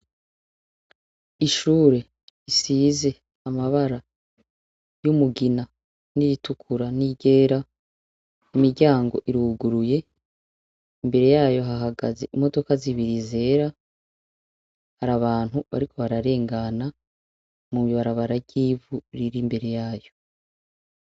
Ishure risize amabara y'umugina n'iritukura n'iryera, imiryango iruguruye, imbere yayo hahagaze imodoka zibiri zera, har'abantu bariko bararengana mw'ibarabara ry'ivu riri imbere yayo.